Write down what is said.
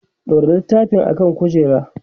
ɗaura littafin ka akan kujera!